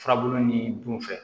Furabulu ni dun fɛ